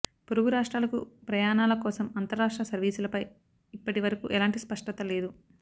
పొరుగు రాష్ట్రాలకు ప్రయాణా ల కోసం అంతర్రాష్ట్ర సర్వీసులపై ఇప్పటి వరకు ఎలాంటి స్పష్టత లేదు